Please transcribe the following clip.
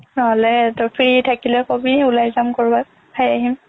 নহ'লে তই free থাকিলে ক'বি ওলাই যাম ক'ৰবাত খাই আহিম